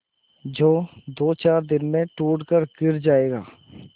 जो दोचार दिन में टूट कर गिर जाएगा